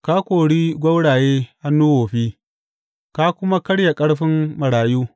Ka kori gwauraye hannu wofi, ka kuma karya ƙarfin marayu.